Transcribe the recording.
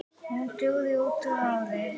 Hún dugi út árið.